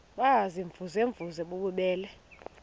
baziimvuze mvuze bububele